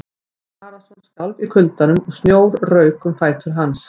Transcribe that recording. Jón Arason skalf í kuldanum og snjór rauk um fætur hans.